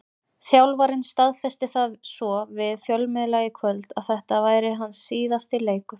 Þjálfarinn staðfesti það svo við fjölmiðla í kvöld að þetta væri hans síðasti leikur.